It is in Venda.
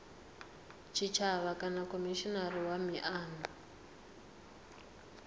tshitshavha kana khomishinari wa miano